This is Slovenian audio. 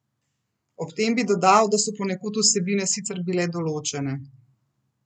Ob tem bi dodal, da so ponekod vsebine sicer bile določene.